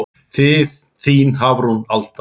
Þín Hafrún Alda.